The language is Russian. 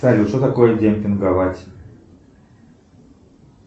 салют что такое демпинговать